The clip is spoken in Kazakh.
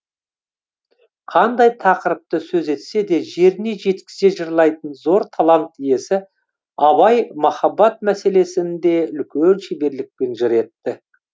қандай тақырыпты сөз етсе де жеріне жеткізе жырлайтын зор талант иесі абай махаббат мәселесін де үлкен шеберлікпен жыр етті